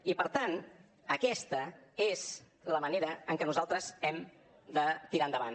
i per tant aquesta és la manera en què nosaltres hem de tirar endavant